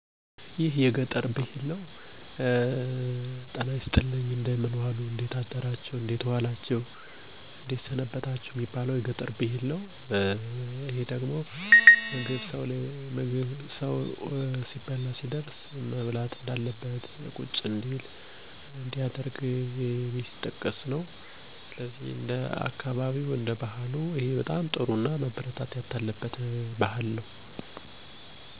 ሰላም "ጤና ይስጥልኝ" ሰላም ናችሁ እንዴት ሰነበታችሁ : እንዴት ከረማችሁ ማዕድ ላይ ደርሳችኋል እንብላ እንጠጣ